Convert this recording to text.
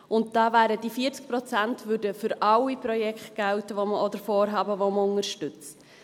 Und da würden diese 40 Prozent für alle Projekte oder Vorhaben gelten, die wir unterstützen.